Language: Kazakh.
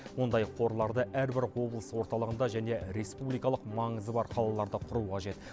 ондай қорларды әрбір облыс орталығында және республикалық маңызы бар қалаларда құру қажет